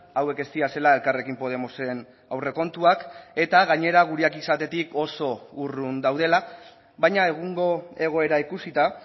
hauek ez direla elkarrekin podemosen aurrekontuak eta gainera gureak izatetik oso urrun daudela baina egungo egoera ikusita